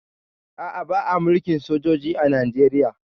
A'a, ba a mulkin sojoji a Najeriya